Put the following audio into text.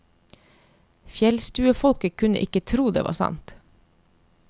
Fjellstuefolket kunne ikke tro det var sant.